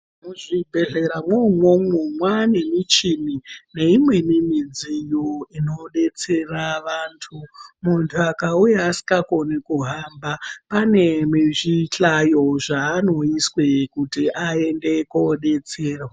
Muzvibhedhlera mwoumwomwo mwanemichini neimweni midziyo inobetsera vantu. Muntu akauya asinga koni kuhamba panezvihlayo zvanoiswe kuti aende kobetserwa.